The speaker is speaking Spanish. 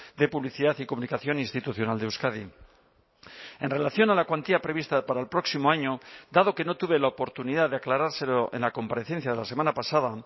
de publicidad y comunicación institucional de euskadi en relación a la cuantía prevista para el próximo año dado que no tuve la oportunidad de aclarárselo en la comparecencia de la semana pasada